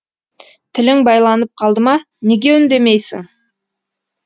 тілің байланып қалды ма неге үндемейсің